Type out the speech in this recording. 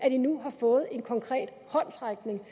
at de nu har fået en konkret håndsrækning